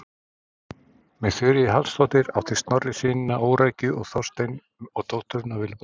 Með Þuríði Hallsdóttur átti Snorri synina Órækju og Þorstein og dótturina Vilborgu.